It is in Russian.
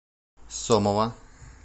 сомова